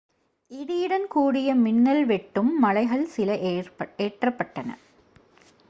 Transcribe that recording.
இடியுடன் கூடிய மின்னல் வெட்டும் மழைகள் சில ஏற்றப்பட்டன